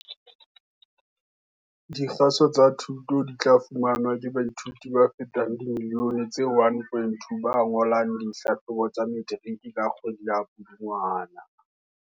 Dikgaso tsa dithuto di tla fumanwa ke baithuti ba fetang dimiliyone tse 1.2 ba ngolang dihlahlobo tsa Metiriki ka kgwedi ya Pudungwana.